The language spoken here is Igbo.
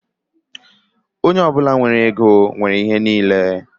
Onye ọ bụla nwere ego nwere ihe niile